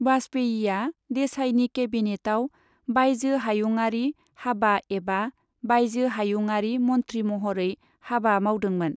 वाजपेयीआ देसाईनि केबिनेटआव बायजो हायुंआरि हाबा एबा बायजो हायुंआरि मन्थ्रि महरै हाबा मावदोंमोन।